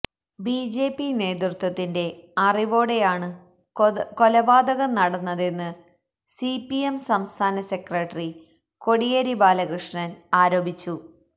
BJP നേതൃത്വത്തിന്റെ അറിവോടെയാണ് കൊലപാതകം നടന്നതെന്ന് സിപിഎം സംസ്ഥാന സെക്രട്ടറി കോടിയേരി ബാലകൃഷ്ണന് ആരോപിച്ചു